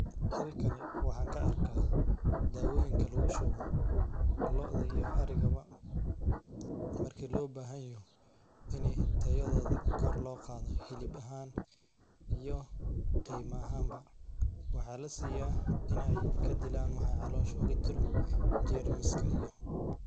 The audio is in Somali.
Halkani waxaan ka arkay daawooyin kaa lagu shubo lo'da iyo ariga ma markii loo baahan yahay inay tayadooda kor loo qaado xilib ahaan iyo qiime ahaanba. Waxaa la siiyaa in ay ka dillaan waxa caloosha uga jiro germs kaa iyo.